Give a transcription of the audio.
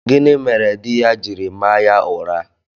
Gịnị mere di ya jiri maa ya ụra?